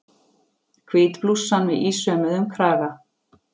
Hvít blússan með ísaumuðum kraga.